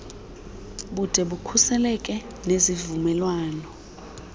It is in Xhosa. bude bukhuseleke nezivumelwano